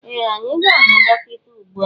Ee! Anyị ga-ahụ dọkịta ugbu a.